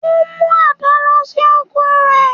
Ó mú àdá lọ sí oko rẹ̀